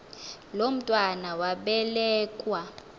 lo mntwana wabelekua